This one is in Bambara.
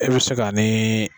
E bɛ se k'a ni.